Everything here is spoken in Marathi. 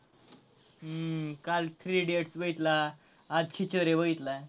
हम्म काल three idiots बघितला, आज खिचडी बघितला.